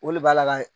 O le b'a la ka